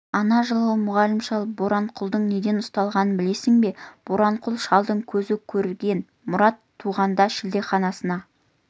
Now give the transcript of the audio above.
ана жылғы мұғалім шал боранқұлдың неден ұсталғанын білесің бе боранқұл шалды көзі көрген мұрат туғанда шілдеханасына